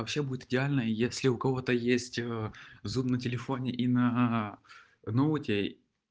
вообще будет идеально если у кого-то есть зум на телефоне и на ноуте